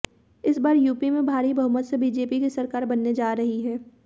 इस बार यूपी में भारी बहुमत से बीजेपी की सरकार बनने जा रही है